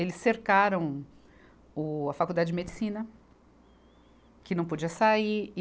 Eles cercaram o a Faculdade de Medicina, que não podia sair.